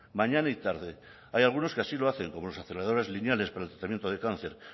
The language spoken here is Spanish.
mañana y tarde hay algunos que así lo hacen como los aceleradores lineales para tratamiento de cáncer